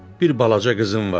Bir balaca qızım var.